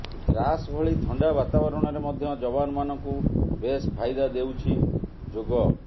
ଦ୍ରାସ ଭଳି ଥଣ୍ଡା ବାତାବରଣରେ ମଧ୍ୟ ଯବାନ ମାନଙ୍କୁ ବେଶ ଫାଇଦା ଦେଉଛି ଯୋଗ